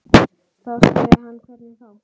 Þá sagði hann hvernig þá.